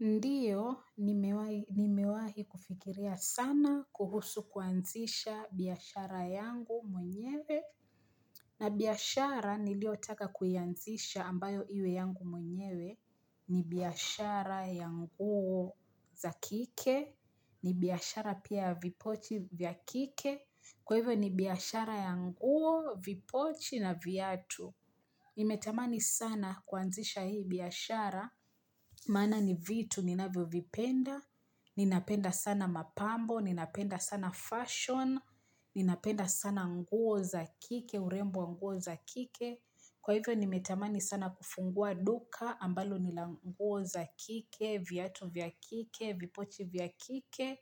Ndiyo, nimewai nimewahi kufikiria sana kuhusu kuanzisha biashara yangu mwenyewe na biashara niliotaka kuianzisha ambayo iwe yangu mwenyewe ni biashara ya nguo za kike, ni biashara pia ya vipochi vya kike, kwa hivyo ni biashara ya nguo vipochi na viatu. Nimetamani sana kuanzisha hii biashara, maana ni vitu ninavyovipenda, ninapenda sana mapambo, ninapenda sana fashion, ninapenda sana nguo za kike, urembo wa nguo za kike. Kwa hivyo nimetamani sana kufungua duka ambalo lina nguo za kike, viatu vya kike, vipochi vya kike.